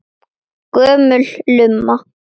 Gömul lumma.